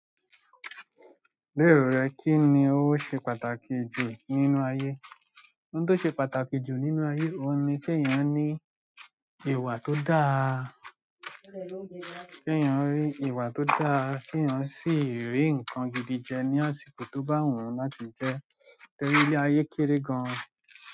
Ní erò rẹ, kí ni ó ṣe pàtàkì jù nínú ayé? Ohun tó ṣe pàtàkì jù nínú ayé, òun ni pé èèyàn ní ìwà tó dáa, pé èèyàn ní ìwà tó dáa, pé èèyàn sì rí nǹkan gidi jẹ ní àsìkò tó bá wù ú láti jẹ, torí ile ayé kéré gan.